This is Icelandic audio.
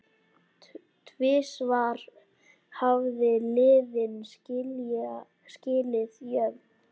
Tvisvar hafa liðin skilið jöfn.